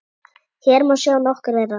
Hér má sjá nokkur þeirra.